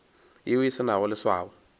yeo e se nago leswao